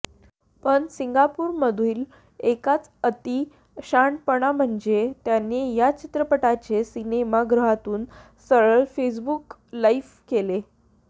पण सिंगापूरमधील एकाचा अती शहानपणा म्हणजे त्याने या चित्रपटाचे सिनेमा गृहातून सरळ फेसबुक लाईव्ह केले